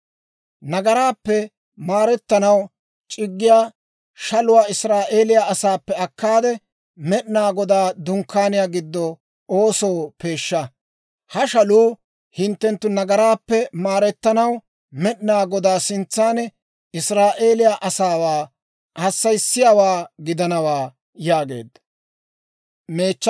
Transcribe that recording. Nagaraappe maretanaw c'iggiyaa shaluwaa Israa'eeliyaa asaappe akkaade, Med'inaa Godaa Dunkkaaniyaa giddo oosoo peeshsha. Ha shaluu hinttenttu nagaraappe maarettanaw, Med'inaa Godaa sintsan Israa'eeliyaa asaawaa hassayiyaawaa gidanawaa» yaageedda.